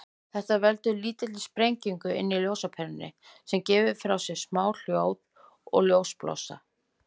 Þetta veldur lítilli sprengingu inni í ljósaperunni, sem gefur frá sér smá hljóð og ljósblossa.